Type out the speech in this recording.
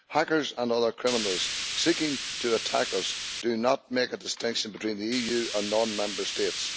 Hackers and other criminals seeking to attack us do not make a distinction between the EU and non Member States.